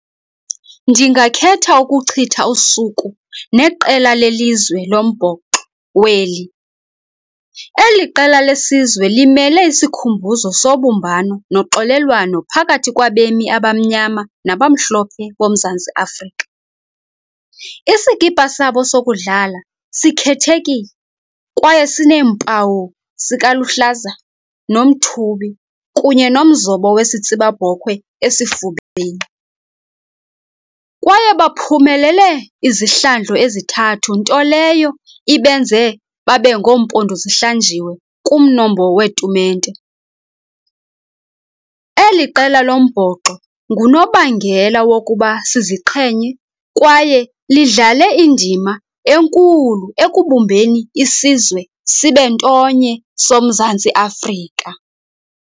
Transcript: Ndingakhetha ukuchitha usuku neqela lelizwe lombhoxo weli. Eli qela lesizwe limele isikhumbuzo sobumbano noxolelwano phakathi kwabemi abamnyama nabamhlophe boMzantsi Afrika. Isikipha sabo sokudlala sikhethekile, kwaye sineempawu sikaluhlaza nomthubi kunye nomzobo wesitsibabhokhwe esifubeni, kwaye baphumelele izihlandlo ezithathu, nto leyo ibenze babe ngoompondo zihlanjiwe kumnombo weetumente. Eli qela lombhoxo ngunobangela wokuba siziqhenye, kwaye lidlale indima enkulu ekubumbeni isizwe sibe ntonye soMzantsi Afrika.